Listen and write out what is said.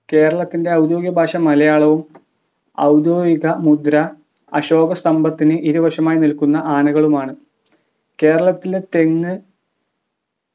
കേരളത്തിൻ്റെ ഔദ്യോഗിക ഭാഷ മലയാളവും ഔദ്യോഗിക മുദ്ര അശോക സ്തംഭത്തിന് ഇരുവശവുമായി നിൽക്കുന്ന ആനകളുമാണ് കേരളത്തിലെ തെങ്ങ്